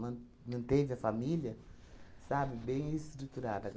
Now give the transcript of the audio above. Man manteve a família, sabe, bem estruturada.